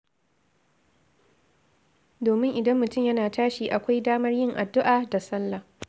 Domin idan mutum yana tashi, akwai damar yin addu'a da salla.